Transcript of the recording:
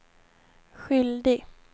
skyldig